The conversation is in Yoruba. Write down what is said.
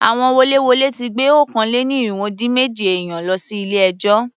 Àwọn woléwolé ti gbé okòó-lé-ní-irínwó-dín-méjì èèyàn lọ sí ilé ẹjọ́.